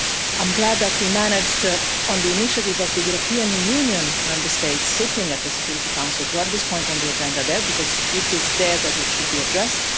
I'm glad that we managed, on the initiative of the European Union Member States sitting on the Security Council, to have this point on the agenda there, because it is there that it should be addressed.